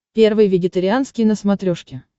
первый вегетарианский на смотрешке